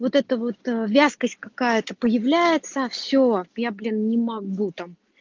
вот это вот вязкость какая-то появляется все я блин не могу там